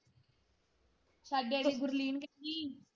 ਸਾਡੇ ਆਲੀ ਗੁਰਲੀਨ .